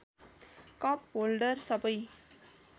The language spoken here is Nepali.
कप होल्डर सबै